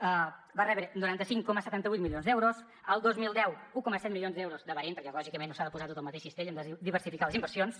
va rebre noranta cinc coma setanta vuit milions d’euros el dos mil deu un coma set milions d’euros de bahrein perquè lògicament no s’ha de posar tot al mateix cistell hem de diversificar les inversions